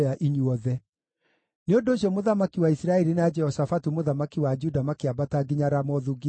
Nĩ ũndũ ũcio mũthamaki wa Isiraeli na Jehoshafatu mũthamaki wa Juda makĩambata nginya Ramothu-Gileadi.